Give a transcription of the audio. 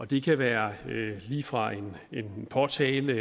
det kan være lige fra en påtale